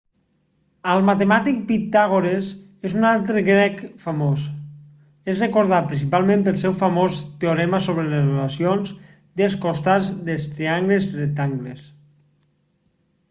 el matemàtic pitàgores és un altre grec famós es recordat principalment pel seu famós teorema sobre les relacions dels costats dels triangles rectangles